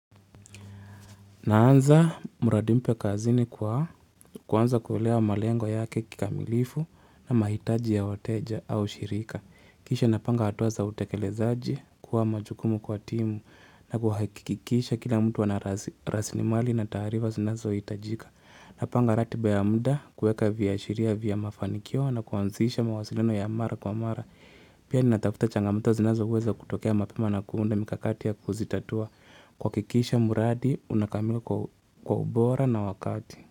Naanza mradi mpya kazini kwa kuanza kuelewa malengo yake kikamilifu na mahitaji ya wateja au shirika. Kisha napanga hatua za utekelezaji kuwa majukumu kwa timu na kuhakikisha kila mtu anarasilimali na taarifa zinazo hitajika. Napanga ratiba ya muda kuweka viashiria vya mafanikio na kuanzisha mawasiliano ya mara kwa mara. Pia ni natafuta changamoto zinazoweza kutokea mapema na kuunda mikakati ya kuzitatua. Kuhakikisha mradi unakamilika kwa ubora na wakati.